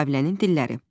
Müqavilənin dilləri.